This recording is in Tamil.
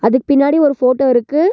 அதுக் பின்னாடி ஒரு ஃபோட்டோ இருக்கு.